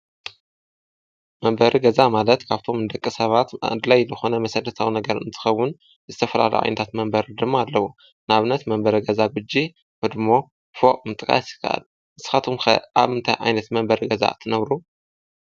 መንበሪ ገዛ ማለት ካብቶም ደቂ ሰባት ኣድላይ ልኾነ መሠረታዊ ነገር እንትኸውን ዝተፈላለዩ ዓይነታት መንበሪ ድማ ኣለዉ፡፡ ንኣብነት መንበሪ ገዛ ጕጅ፣ ህድሞ፣ ፍቕ ምጥቓስ ይካኣል፡፡ ንስኻቶኩም ኣብ እንታይ ዓይነት መንበሪ ገዛ ትነብሩ?